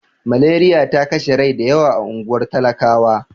Maleriya ta kashe rai da yawa a unguwar talakawa.